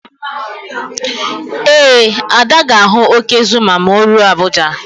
Ee, Ada ga-ahụ óké Zuma ma o ruo Abuja.